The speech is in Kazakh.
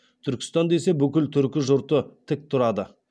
түркістан десе бүкіл түркі жұрты тік тұрады